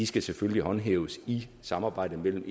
skal selvfølgelig håndhæves i samarbejdet mellem